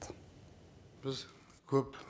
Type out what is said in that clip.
біз көп